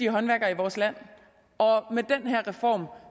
håndværkere i vores land og med den her reform